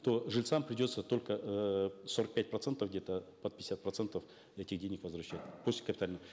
то жильцам придется только эээ сорок пять процентов где то под пятьдесят процентов этих денег возвращать после капитального